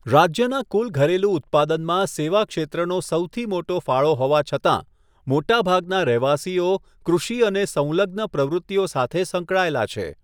રાજ્યના કુલ ઘરેલુ ઉત્પાદનમાં સેવા ક્ષેત્રનો સૌથી મોટો ફાળો હોવા છતાં, મોટાભાગના રહેવાસીઓ કૃષિ અને સંલગ્ન પ્રવૃત્તિઓ સાથે સંકળાયેલા છે.